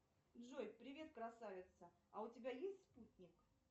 джой привет красавица а у тебя есть спутник